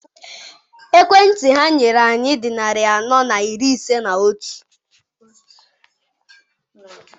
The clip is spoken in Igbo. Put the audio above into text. Ekwentị ha nyere anyị dị narị anọ na iri ise na otu.